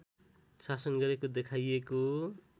शासन गरेको देखाइएको